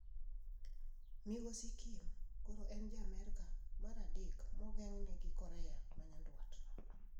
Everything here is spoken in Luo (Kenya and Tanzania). Migosi Kim koro en ja Amerka mar adek ma ogeng'ne gi Korea ma Nyanduat.